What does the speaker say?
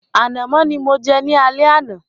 Ànàmọ́ ni mo jẹ ní alẹ́ àná.